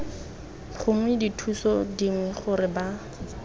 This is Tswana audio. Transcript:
gongwe dithuso dingwe gore ba